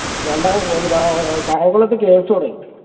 കായംകുളത് KFC തൊടങ്ങി